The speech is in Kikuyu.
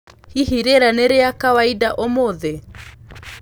hĩhĩ rĩera ni ria kawaidaũmũthĩ